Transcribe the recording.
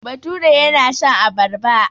Bature yana shan abarba.